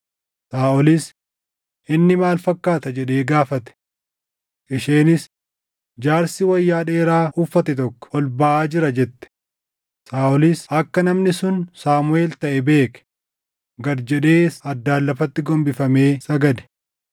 Saaʼolis, “Inni maal fakkaata?” jedhee gaafate. Isheenis, “Jaarsi wayyaa dheeraa uffate tokko ol baʼaa jira” jette. Saaʼolis akka namni sun Saamuʼeel taʼe beeke; gad jedhees addaan lafatti gombifamee sagade.